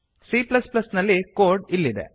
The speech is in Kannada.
c ನಲ್ಲಿ ಕೋಡ್ ಇಲ್ಲಿದೆ